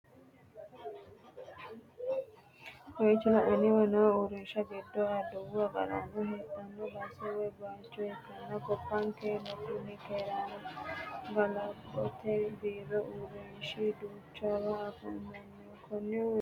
Kowicho lainanniwa no urrinshi giddo Adawu agarano hedhanno base woy bayicho ikkanna, gobankerano kuni keerunna ga'labote biiro urrinshi duuchawa afamanno. konni urrinshinni afi'neemmo ka'lo woy horo maati?